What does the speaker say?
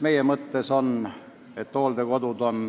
Meil on mõttes, et hooldekodudel on